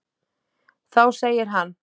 Þá segir hann